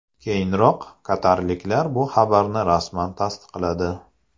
Keyinroq qatarliklar bu xabarni rasman tasdiqladi.